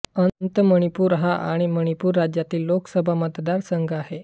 अंतः मणिपूर हा मणिपूर राज्यातील लोकसभा मतदारसंघ आहे